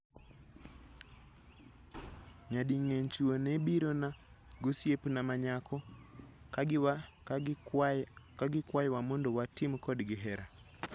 Nyadingeny chwo nebirona giosiepna manyako kagikwayowa mondo watim kodgi hera